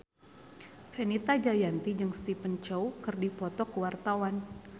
Fenita Jayanti jeung Stephen Chow keur dipoto ku wartawan